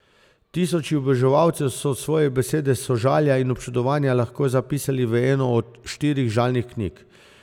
Tisoči oboževalcev so svoje besede sožalja in občudovanja lahko zapisali v eno od štirih žalnih knjig.